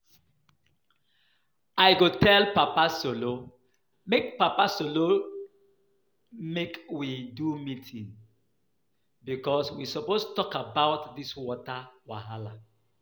I go tell Papa Solo make papa solo make we do meeting because we suppose talk about dis water wahala